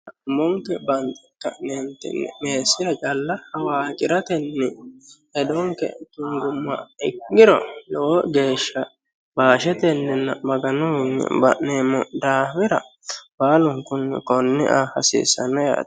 Umonke banxetinni meessiha calla hawaqirate hedote guguma giddora e'niro lowo geeshsha bashetenna Maganuwi ba'neemmo daafira baallunkunni kone affa hasiisano yaate.